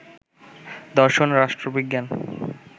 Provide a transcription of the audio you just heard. দর্শন, রাষ্ট্রবিজ্ঞান